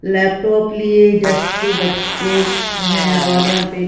laptop के लिए desk पे बच्चे हैं और यहां पे--